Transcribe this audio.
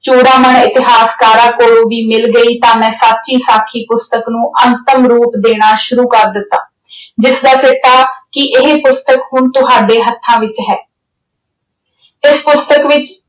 ਇਤਿਹਾਸਕਾਰਾਂ ਕੋਲੋਂ ਵੀ ਮਿਲ ਗਈ ਤਾਂ ਮੈਂ ਸਾਖੀ ਅਹ ਸਾਖੀ ਪੁਸਤਕ ਨੂੰ ਅੰਤਿਮ ਰੂਪ ਦੇਣਾ ਸ਼ੁਰੂ ਕਰ ਦਿੱਤਾ। ਜਿਸ ਦਾ ਸਿੱਟਾ ਕਿ ਇਹ ਪੁਸਤਕ ਹੁਣ ਤੁਹਾਡੇ ਹੱਥਾਂ ਵਿੱਚ ਹੈ। ਇਸ ਪੁਸਤਕ ਵਿੱਚ